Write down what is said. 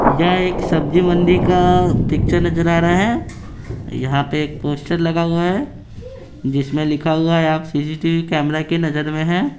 यह एक सब्जी मंडी का पिक्चर नजर आ रहा है यहां पे एक पोस्टर लगा हुआ है जिसमें लिखा हुआ है आप सी_सी_टी_वी कैमरा नजर में है।